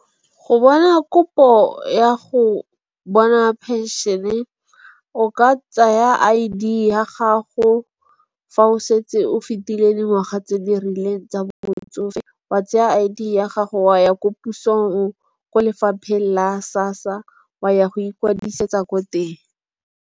Go bona kopo ya go bona penšene o ka tsaya I_D ya gago. Fa o setse o fitileng dingwaga tse di rileng tsa botsofe wa tsaya I_D ya gago wa ya ko pusong ko lefapheng la SASSA wa ya go ikwetlisetsa ko teng.